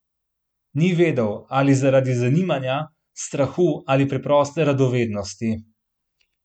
Ni vedel, ali zaradi zanimanja, strahu ali preproste radovednosti.